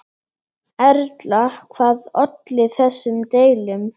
Erla, hvað olli þessum deilum?